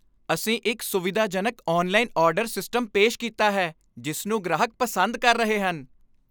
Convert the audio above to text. ਅਸੀਂ ਇੱਕ ਸੁਵਿਧਾਜਨਕ ਔਨਲਾਈਨ ਆਰਡਰ ਸਿਸਟਮ ਪੇਸ਼ ਕੀਤਾ ਹੈ ਜਿਸ ਨੂੰ ਗ੍ਰਾਹਕ ਪਸੰਦ ਕਰ ਰਹੇ ਹਨ।